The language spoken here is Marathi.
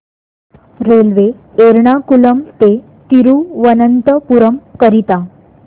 रेल्वे एर्नाकुलम ते थिरुवनंतपुरम करीता